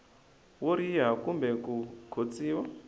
wo riha kumbe ku khotsiwa